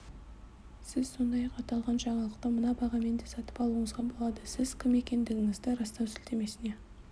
сіз сондай-ақ аталған жаңалықты мына бағамен де сатып алуыңызға болады сіз кім екендігіңізді растау сілтемесіне